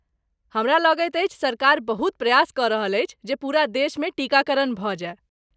हमरा लगैत अछि सरकार बहुत प्रयास कऽ रहल अछि जे पूरा देशमे टीकाकरण भऽ जाय।